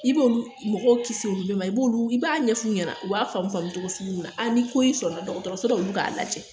I b'olu mɔgɔw kisi olu le ma i b'olu i b'a ɲɛf'u ɲɛna u b'a faamu faamu togo sugu min na a nin ko y'i sɔrɔ dɔgɔtɔsɔra olu k'a lajɛ